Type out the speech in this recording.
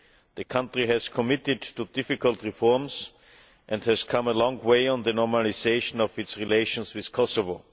The country has committed to difficult reforms and has come a long way on the normalisation of its relations with Kosovo.